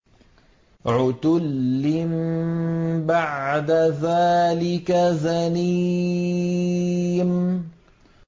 عُتُلٍّ بَعْدَ ذَٰلِكَ زَنِيمٍ